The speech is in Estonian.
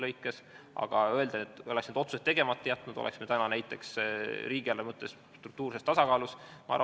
Aga kas saab öelda, et kui me oleks need otsused tegemata jätnud, siis oleks täna riigieelarve struktuurses tasakaalus?